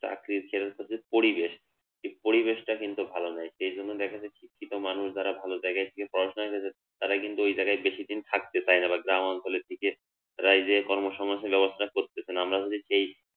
চাকরির যে হচ্ছে যে পরিবেশ সেই পরিবেশটা কিন্তু ভালো নাই, সেই জন্য দেখা যায় শিক্ষিত মানুষ যারা ভালো জায়গা থেকে পড়াশোনা করেছে তারা কিন্তু ঐ জায়গায় বেশিদিন থাকতে চায়না বা গ্রামাঞ্চলের দিকে তারা এই যে কর্মসংস্থান ব্যবস্থার করতেছেনা আমরা যদি এই